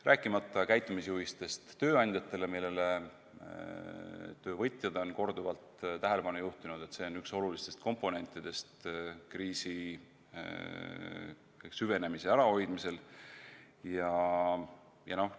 Rääkimata käitumisjuhistest tööandjatele, millele töövõtjad on korduvalt tähelepanu juhtinud – see on üks olulistest komponentidest kriisi süvenemise ärahoidmisel.